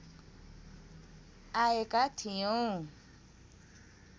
आएका थियौँ